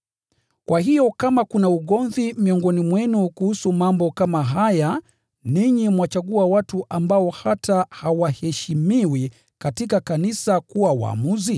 Kwa hiyo kama kuna ugomvi miongoni mwenu kuhusu mambo kama haya, chagueni kuwa waamuzi, watu ambao wanaonekana hata sio wa heshima katika kanisa.